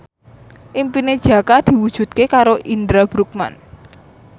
impine Jaka diwujudke karo Indra Bruggman